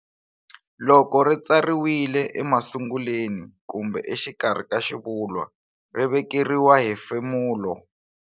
Loko ri tsariwile emasunguleni kumbe exikarhi ka xivulwa ri vekeriwa hefemulo",".